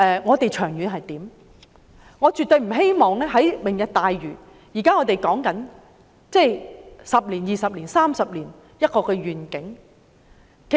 我們現在說的"明日大嶼"，是未來10年、20年、30年的一個願景。